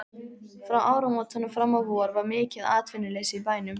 Frá áramótum fram á vor var mikið atvinnuleysi í bænum.